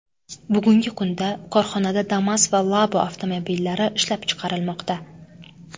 Bugungi kunda korxonada Damas va Labo avtomobillari ishlab chiqarilmoqda.